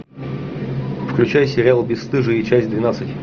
включай сериал бесстыжие часть двенадцать